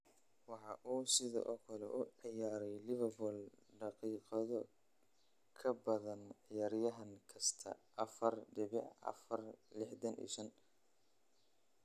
Waxa uu sidoo kale u ciyaaray Liverpool daqiiqado ka badan ciyaaryahan kasta (4,465).